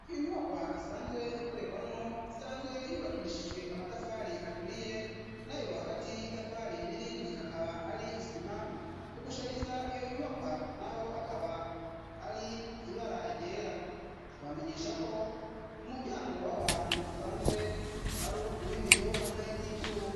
Iyo nyubakwa isanzwe ikorerwamwo isanzwe yubakishijwe amatafari aturiye na yo hagati y'iyo itafari n'irindi akaba ari isima kugushariza iyo nyubakwa na ho akaba ari ibe aragera tubamenyeshako umuryango waho hantu usanzwe ari uwibiyo hamwe n'ivyua.